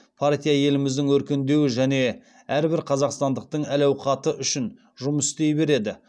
партия еліміздің өркендеуі және әрбір қазақстандықтың әл ауқаты үшін жұмыс істей береді